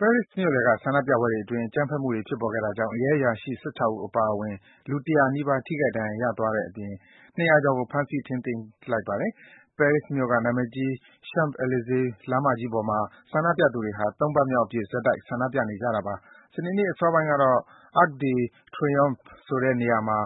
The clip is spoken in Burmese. ပဲရစ်မြို့လယ်က ဆန္ဒပြပွဲအတွင်း အကြမ်းဖက်မှုတွေ ဖြစ်ပေါ်ခဲ့တာကြောင့် ရဲအရာရှိ ၁၆ ဦး အပါအဝင် လူ ၁၀၀ နီးပါး ထိခိုက်ဒဏ်ရာရသွားတဲ့အပြင် ၂၀၀ ကျော်ကို ဖမ်းဆီး ထိန်းသိမ်းလိုက်ပါတယ်။ ပဲရစ်မြို့က နာမည်ကြီး Champ Elysees လမ်းမကြီးပေါ်မှာ ဆန္ဒပြသူတွေဟာ ၃ ပတ်မြောက် ဆက်တိုက် ဆန္ဒပြနေကြတာပါ။ စနေနေ့ အစောပိုင်းက Arc de Triomphe ဆိုတဲ့ နေရာမှာ